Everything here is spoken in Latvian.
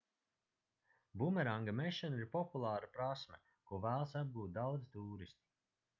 bumeranga mešana ir populāra prasme ko vēlas apgūt daudzi tūristi